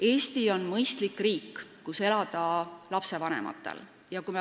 Eesti on lastevanematele elamiseks mõistlik riik.